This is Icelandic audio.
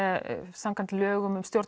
samkvæmt lögum um stjórn